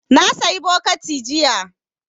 Na sayi bokiti jiya